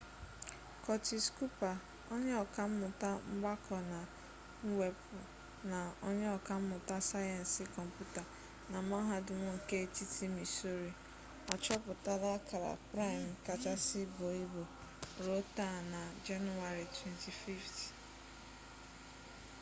curtis cooper onye ọka mmụta mgbakọ na mwepụ na onye ọka mmụta sayensị kọmputa na mahadum nke etiti missouri achọpụtala akara praịm kachasị buo ibu ruo ta na jenụwarị 25